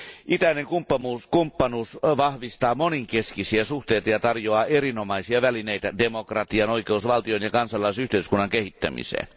Itäinen kumppanuus vahvistaa monenkeskisiä suhteita ja tarjoaa erinomaisia välineitä demokratian, oikeusvaltion ja kansalaisyhteiskunnan kehittämiseen.